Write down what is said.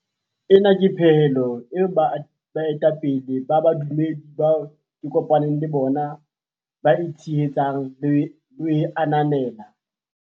Ena ke pehelo eo baetapele ba bodumedi bao ke kopa neng le bona ba e tshehetsang le ho e ananela.